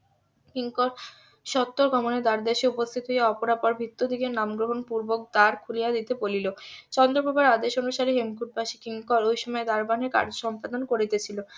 কিঙ্কর সত্তর গমনে দ্বার দেশে উপস্থিত হইয়া অপরাপর ভৃত্য দিগের নাম গ্রহণ পূর্বক দ্বার খুলিয়া দিতে বলিল চন্দ্র প্রভার আদেশ অনুসারে দেশে হেমকুট বাসী কিঙ্কর ওই সময় দারোয়ানের কার্য সম্পাদন করিতেছিল